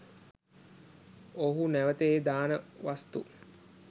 ඔවුහු නැවත ඒ දාන වස්තු